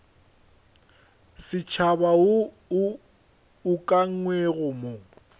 setšhaba wo o ukangwego mo